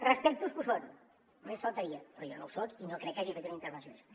respecto els que ho són només faltaria però jo no ho soc i no crec que hagi fet una intervenció així